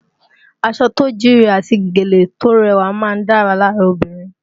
Aṣọ tó jíire àti gèlè tó rẹwà máa ń dára lára obìnrin